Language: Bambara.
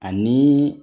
Ani